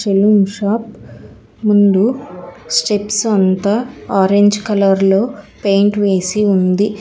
చెలూన్ shop ముందు steps అంత orange colour లో పెయింట్ వేసి ఉంది.